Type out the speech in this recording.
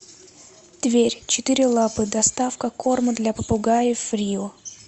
тверь четыре лапы доставка корма для попугаев рио